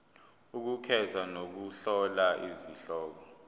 ukukhetha nokuhlola izihloko